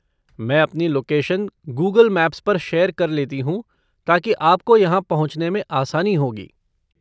मैं अपनी location Google maps पर शेयर कर लेती हूँ ताकि आपको यहाँ पहुँचने में आसानी होगी।